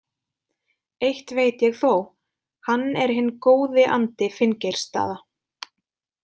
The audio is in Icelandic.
Eitt veit ég þó: hann er hinn góði andi Finngeirsstaða.